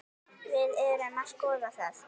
Við erum að skoða það.